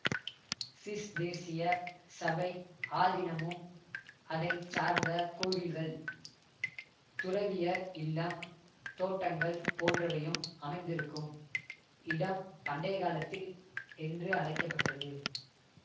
சிஸ்தேர்சிய சபை ஆதீனமும் அதை சார்ந்த கோவில்கள் துறவியர் இல்லம் தோட்டங்கள் போன்றவையும் அமைந்திருக்கும் இடம் பண்டைக்காலத்தில் என்று அழைக்க பட்டது